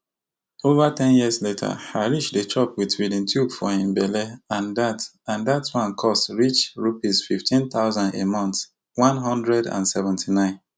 ova ten years later Harish dey chop wit feeding tube for him belle and dat and dat one cost reach Rupees fifteen thousand a month one hundred and seventy-nine